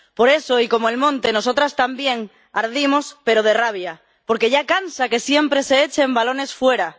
Por eso y como el monte, nosotras también ardimos, pero de rabia, porque ya cansa que siempre se echen balones fuera.